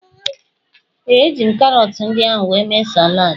Ee, eji m karọtụ ndị ahụ wee mee saladị.